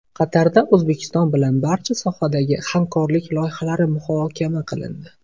Qatarda O‘zbekiston bilan barcha sohalardagi hamkorlik loyihalari muhokama qilindi.